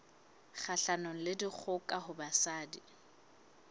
kgahlanong le dikgoka ho basadi